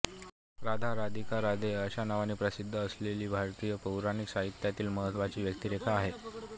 राधा राधिकाराधे अशा नावांनी प्रसिद्ध असलेलीही भारतीय पौराणिक साहित्यातील महत्त्वाची व्यक्तिरेखा आहे